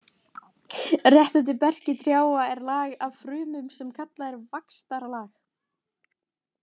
Rétt undir berki trjáa er lag af frumum sem kallað er vaxtarlag.